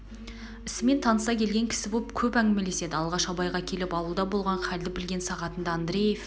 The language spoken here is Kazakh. ісімен таныса келген кісі боп көп әңгмелеседі алғаш абайға келіп ауылда болған халді білген сағатында андреев